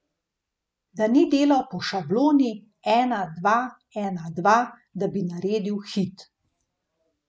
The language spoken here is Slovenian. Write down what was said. Da ni delal po šabloni, ena, dva, ena, dva, da bi naredil hit.